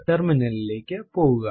terminal ലിലേക്ക് പോകുക